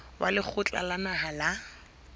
wa lekgotla la naha la